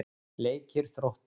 Leikir Þróttar